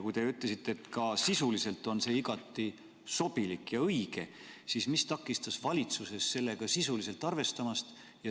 Kui te ütlesite, et ka sisuliselt on see igati sobilik ja õige, siis mis takistas valitsusel seda sisuliselt arvestamast?